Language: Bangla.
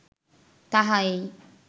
তাহা এই